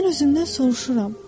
Mən özümdən soruşuram: